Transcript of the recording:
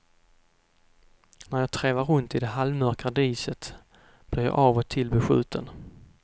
När jag trevar runt i det halvmörka diset blir jag av och till beskjuten.